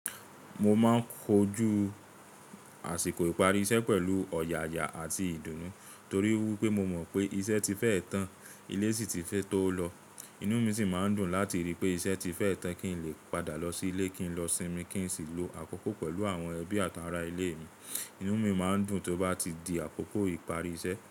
Mo máa ń kojú àsìkò ìparí iṣẹ́ pẹ̀lú ọ̀yàyà àti ìdùnnú torí wípé mo mọ̀ pé iṣẹ́ ti fẹ́ tán, ilé sì ti fẹ́ tó lọ. Inú mi sì máa ń dùn láti rí i pé iṣẹ́ ti fẹ́ tán kí n lè padà lọ sí ilé, kí n lọ sinmi kí n sì lo àkókò pẹ̀lú àwọn ẹbí àtàrá ilé mi. Inú mi máa ń dùn tó bá ti di àkókò ìparí iṣẹ́.